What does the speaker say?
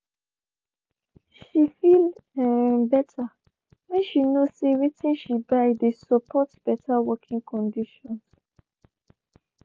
she feel better when she know say watin she buy dey support better working conditions.